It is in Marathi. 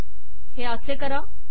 हे असे करा